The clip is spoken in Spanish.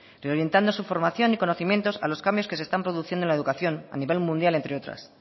reorientando su formación y conocimientos a los cambios que se están produciendo en la educación a nivel mundial entre otras